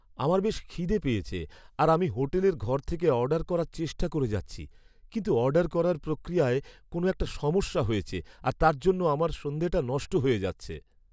আমার বেশ খিদে পেয়েছে আর আমি হোটেলের ঘর থেকে অর্ডার করার চেষ্টা করে যাচ্ছি কিন্তু অর্ডার করার প্রক্রিয়ায় কোনো একটা সমস্যা হয়েছে আর তার জন্য আমার সন্ধেটা নষ্ট হয়ে যাচ্ছে!